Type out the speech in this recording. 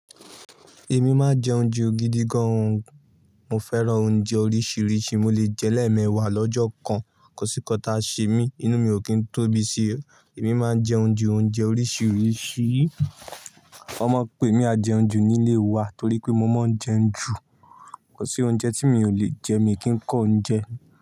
Èmi máa ń jẹ oúnjẹ ògidì gan. Mo fẹ́ràn oúnjẹ oríṣiríṣi, mo lè jẹ́lẹ̀ ẹ́ mẹ́wàá lọ́jọ́ kan. Kọ̀sí kọta ṣe mí, inú mi ò kí ń tóbi si. Èmi máa ń jẹ oúnjẹ oríṣiríṣi. Wọ́n máa ń pe mí ajẹunju nílé wa torí pé mo máa ń jẹun jù. Kò sí oúnjẹ tí mi ò lè jẹ, mi kì í kọ́ oúnjẹ.